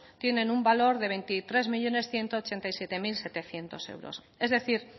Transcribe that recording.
tiene un valor de veintitrés millónes ciento ochenta y siete mil setecientos euros es decir